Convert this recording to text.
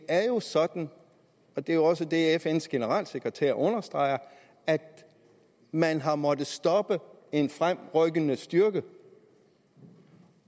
er jo sådan og det er også det fns generalsekretær understreger at man har måttet stoppe en fremrykkende styrke